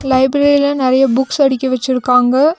லைப்ரரில நெறைய புக்ஸ் அடிக்கி வெச்சிருக்காங்க.